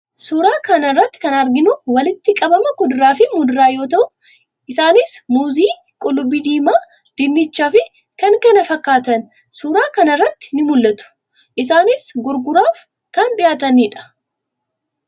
Suuraa kana irratti kan arginu walitti qabama kuduraa fi muduraa yoo ta'u, isaanis: muuzii, qullubbii diimaa, dinnicha fi kan kana fakkaataan suuraa kana irratti ni mul'atu. Isaanis gurguraaf kan dhiyaatanidha.